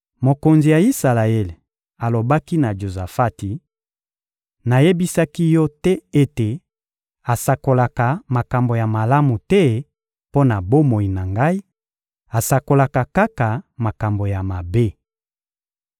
Mokonzi ya Isalaele alobaki na Jozafati: — Nayebisaki yo te ete asakolaka makambo ya malamu te mpo na bomoi na ngai; asakolaka kaka makambo ya mabe!